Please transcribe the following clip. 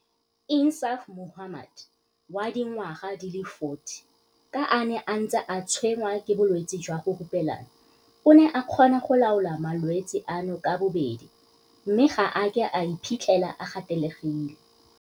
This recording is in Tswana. Insaaf Mohammed, wa dingwaga di le 40, ka a ne a ntse a tshwenngwa ke bolwetse jwa go hupelana, o ne a kgona go laola malwetse ano ka bobedi mme ga a a ke a iphitlhela a gatelegile.